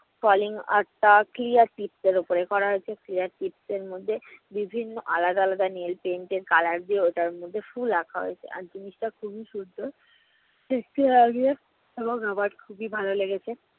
falling art টা clear tips এর ওপরে করা হয়েছে clear tips এর মধ্যে বিভিন্ন আলাদা আলাদা nail paints এর color দিয়ে ওটার মধ্যে ফুল আঁকা হয়েছে। আর জিনিসটা খুবই সুন্দর এবং আমার খুবই ভালো লেগেছে।